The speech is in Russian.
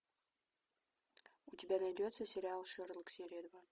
у тебя найдется сериал шерлок серия два